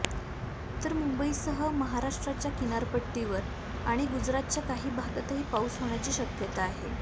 तर मुंबईसह महाराष्ट्रच्या किनारपट्टीवर आणि गुजरातच्या काही भागातही पाऊस होण्याची शक्यता आहे